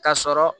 Ka sɔrɔ